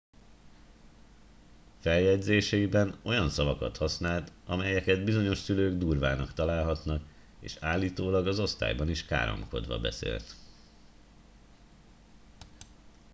feljegyzéseiben olyan szavakat használt amelyeket bizonyos szülők durvának találhatnak és állítólag az osztályban is káromkodva beszélt